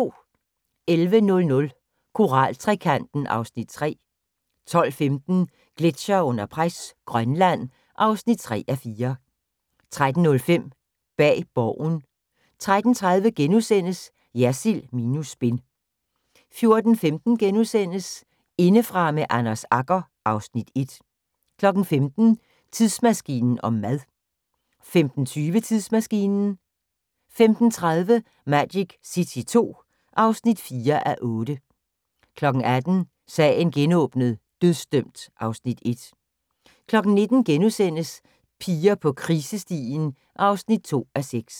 11:00: Koral-trekanten (Afs. 3) 12:15: Gletsjere under pres – Grønland (3:4) 13:05: Bag Borgen 13:30: Jersild minus spin * 14:15: Indefra med Anders Agger (Afs. 1)* 15:00: Tidsmaskinen om mad 15:20: Tidsmaskinen 15:30: Magic City II (4:8) 18:00: Sagen genåbnet: Dødsdømt (Afs. 1) 19:00: Piger på krisestien (2:6)*